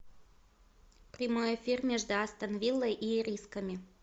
прямой эфир между астон виллой и ирисками